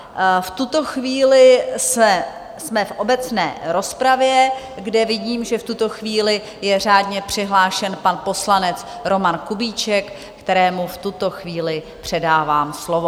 V tuto chvíli jsme v obecné rozpravě, kde vidím, že v tuto chvíli je řádně přihlášen pan poslanec Roman Kubíček, kterému v tuto chvíli předávám slovo.